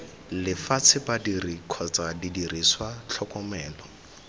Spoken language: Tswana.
lefatshe badiri kgotsa didiriswa tlhokomelo